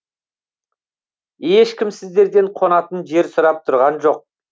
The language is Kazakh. ешкім сіздерден қонатын жер сұрап тұрған жоқ